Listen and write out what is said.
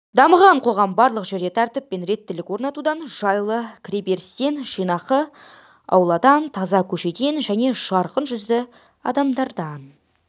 дамыған қоғам барлық жерде тәртіп пен реттілік орнатудан жайлы кіреберістен жинақы ауладан таза көшеден және жарқын жүзді адамдардан